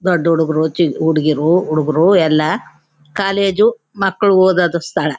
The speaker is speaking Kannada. ದೊಡ್ಡ್ ಹುಡುಗ್ರು ಹುಡುಗೀರು ಹುಡಗರು ಎಲ್ಲ ಕಾಲೇಜ್ ಮಕ್ಕಳು ಓದೋದು ಸ್ಥಳ.